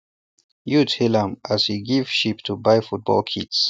youth hail am as e give sheep to buy football kits